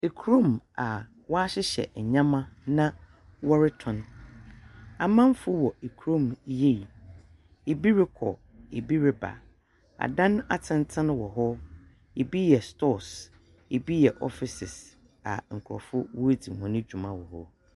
Kurom a wɔahyehyɛ ndzɛmba na wɔrotɔn, amanfo wɔ kurom yie, bi rokɔ, bi reba, adan atsentsen wɔ hɔ, bi yɛ stores, bi yɛ offices a nkorɔfo woridzi hɔn dwuma wɔ hɔ.